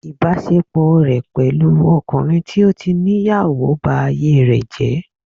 Ìbásepọ̀ rẹ̀ pẹ̀lú ọkùnrin tó tí níyàwó ba ayé rẹ̀ jẹ́